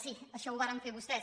sí això ho varen fer vostès